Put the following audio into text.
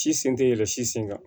Si sen tɛ yɛlɛ si sen kan